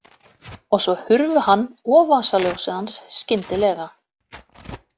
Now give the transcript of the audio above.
Og svo hurfu hann og vasaljósið hans skyndilega.